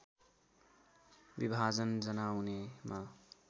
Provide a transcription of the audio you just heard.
विभाजन जनाउने म